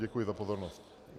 Děkuji za pozornost.